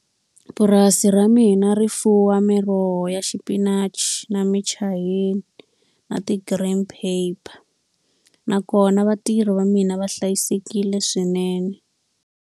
Purasi ra mina ri fuwa miroho ya xipinachi na michayina na ti-green pepper. Nakona vatirhi va mina va hlayisekile swinene.